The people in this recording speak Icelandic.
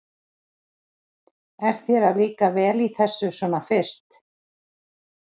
Er þér að líka vel í þessu svona fyrst?